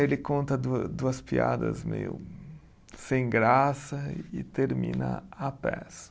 Ele conta dua duas piadas meio sem graça e termina a peça.